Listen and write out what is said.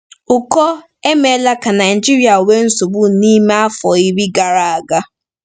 Ụkọ emeela ka Naijiria nwee nsogbu n’ime afọ iri gara aga.